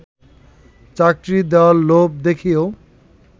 চাকরি দেয়ার লোভ দেখিয়েও